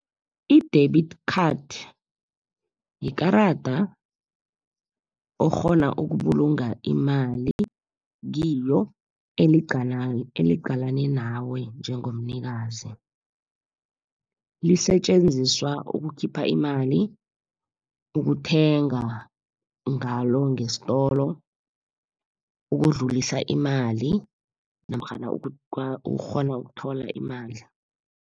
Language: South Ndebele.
I-debit card yikarada okghona ukubulunga imali kilo eliqalene nawe njengomnikazi. Lisetjenziswa ukukhipha imali, ukuthenga ngalo ngesitolo, ukudlulisa imali namkhana ukghona ukuthola imali.